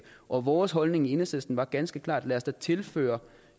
og vores holdning i enhedslisten var ganske klar lad os da tilføre